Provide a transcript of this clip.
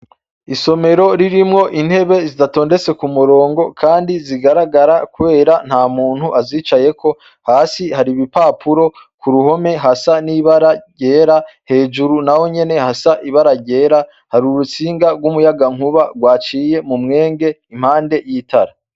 Isomero ririmwo intebe zidatondetse kumurongo kandi zigaragara kubera ntamuntu azicayeko, hasi hari ibipapuro, kuruhome hasa n'ibara ryera, hejuru nahonyene hasa ibara ryera, hari urutsinga rw'umuyagankuba gwaciye mumwenge impande y'itara.